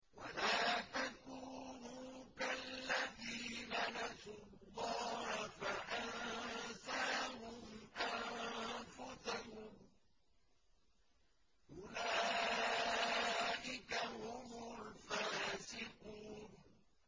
وَلَا تَكُونُوا كَالَّذِينَ نَسُوا اللَّهَ فَأَنسَاهُمْ أَنفُسَهُمْ ۚ أُولَٰئِكَ هُمُ الْفَاسِقُونَ